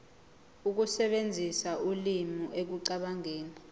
ukusebenzisa ulimi ekucabangeni